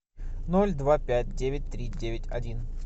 ноль два пять девять три девять один